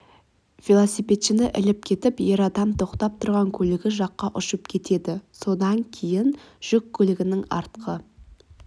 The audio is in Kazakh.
велосипедшіні іліп кетіп ер адам тоқтап тұрған көлігі жаққа ұшып кетеді содан кейін жүк көлігінің артқы